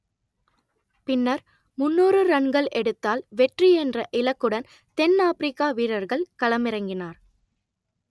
பின்னர் முன்னூறு ரன்கள் எடுத்தால் வெற்றி என்ற இலக்குடன் தென் ஆப்பிரிக்கா வீரர்கள் களமிறங்கினார்